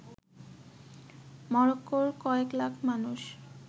মরক্কোর কয়েক লাখ মানুষ